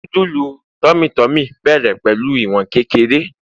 nudulu tummy tummy bẹrẹ pẹlu iwon kékeré